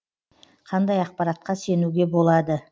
қандай ақпаратқа сенуге болады